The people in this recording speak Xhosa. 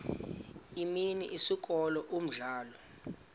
imini isikolo umdlalo